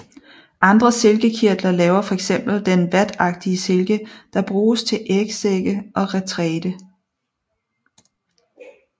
Andre silkekirtler laver fx den vatagtige silke der bruges til ægsække og retræte